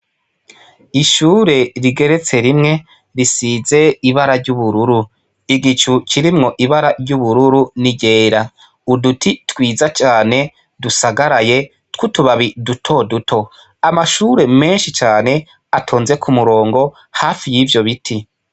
Ishure rigeretse rimwe risize ibara ry'ubururu, igicu kirimwo ibara ry'ubururu n'iryera, uduti twiza cane dusagaraye tw'utubabi duto duto, amashure menshi cane ,atonze kumurongo hafi y'ivyo biti.